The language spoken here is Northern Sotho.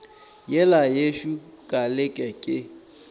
yela yešo ka leke ke